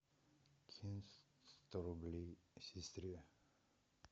кинь сто рублей сестре